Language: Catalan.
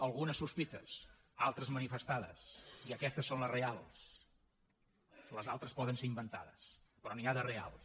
algunes sospites altres manifestades i aquestes són les reals les altres poden ser inventades però n’hi ha de reals